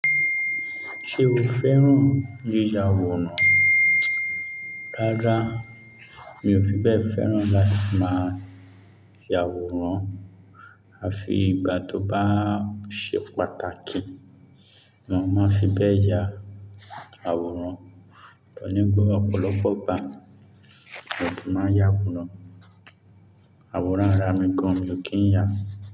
Ṣé o fẹ́ràn yíya àwòrán? Rárá, mi ò fi bẹ́ẹ̀ fẹ́ràn láti máa ya àwòrán, à fi ìgbà tó bá ṣe pàtàkì ni mo máa fi bẹ́ẹ̀ ya àwòrán, torí gbogbo ọ̀pọ̀lọpọ̀ ìgbà mi ò kí máa ya àwòrán. Àwòrán ara mi gan mi ò kí ń ya.